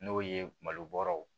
N'o ye malo bɔrɔw